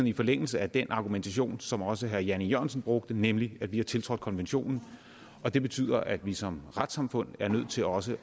i forlængelse af den argumentation som også herre jan e jørgensen brugte nemlig at vi har tiltrådt konventionen det betyder at vi som retssamfund er nødt til også